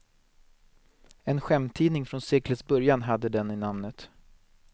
En skämttidning från seklets början hade den i namnet.